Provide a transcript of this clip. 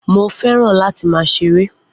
Mo fẹ́ràn láti máa ṣeré